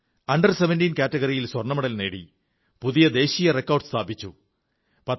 under 17 കാറ്റഗറിയിൽ സ്വർണ്ണമെഡൽ നേടി പുതിയ ദേശീയ റെക്കോർഡ് സ്ഥാപിച്ചു